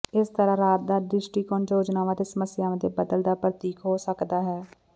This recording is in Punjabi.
ਇਸ ਤਰ੍ਹਾਂ ਰਾਤ ਦਾ ਦ੍ਰਿਸ਼ਟੀਕੋਣ ਯੋਜਨਾਵਾਂ ਅਤੇ ਸਮੱਸਿਆਵਾਂ ਦੇ ਬਦਲ ਦਾ ਪ੍ਰਤੀਕ ਹੋ ਸਕਦਾ ਹੈ